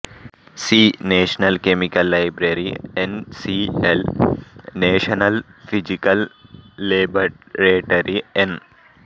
C national chemical library N C L national physical laboratory N